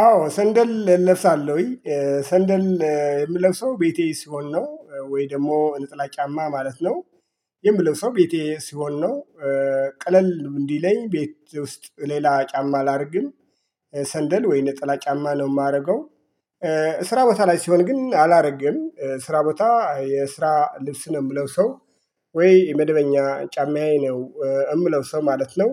አዎ ሰንደል እለብሳለሁኝ ሰንደል የምለፍሰው ቤቴ ሲሆን ነው ወይ ደግሞ ነጠላ ጫማ ማለት ነው። የምለበሰው ቤቴ ሲሆን ነው። ቀለል እንዲለኝ ቤት ውስጥ ሌላ ጫማ አላርግም። ሰንደል ወይን ነጠላ ጫማ ነው የማደርገው። ስራ ቦታ ላይ ሲሆን ግን አላረግም ስራ ቦታ የስራ ልብስ ነው የምለብሰው። ወይ የመደበኛ ጫማዬ ነው የምለብሰው ማለት ነው።